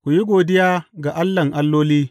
Ku yi godiya ga Allahn alloli.